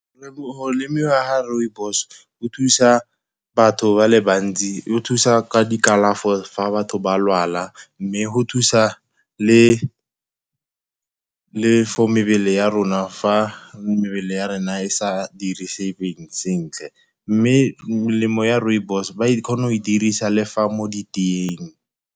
Go lemiwa ga rooibos go thusa batho ba le bantsi, go thusa ka di kalafo fa batho ba lwala, mme go thusa le for mebele ya rona fa mebele ya rona e sa sentle. Mme melemo ya rooibos, ba kgona go e dirisa le fa mo diteeng.